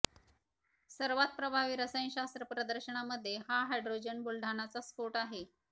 सर्वात प्रभावी रसायनशास्त्र प्रदर्शनामध्ये हा हायड्रोजन बुलढाणाचा स्फोट आहे